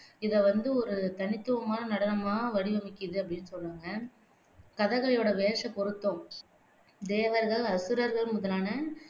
இதை வந்து ஒரு தனித்துவமான நடனமா வடிவமைக்குது அப்படின்னு சொல்றாங்க கதகளியோட வேசப் பொருத்தம் தேவர்கள், அசுரர்கள் முதலான